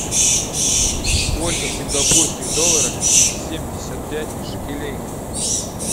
сколько в сингапурских долларах семьдесят пять шекелей